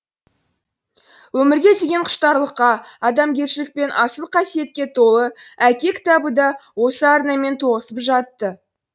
өмірге деген құштарлыққа адамгершілік пен асыл қасиетке толы әке кітабы да осы арнамен тоғысып жатты